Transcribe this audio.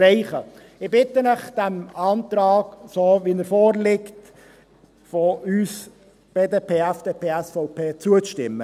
Ich bitte Sie, dem Antrag BDP/FDP/SVP in der vorliegenden Form zuzustimmen.